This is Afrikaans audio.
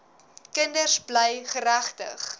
kinders bly geregtig